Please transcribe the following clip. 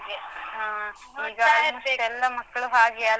ಹ ಈಗ ಎಲ್ಲ ಮಕ್ಕಳೂ ಹಾಗೇ ಅಲ್ವಾ?